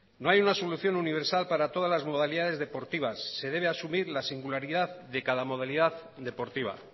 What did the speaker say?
no hay una solución universal para todas las modalidades deportivas se debe asumir la singularidad de cada modalidad deportiva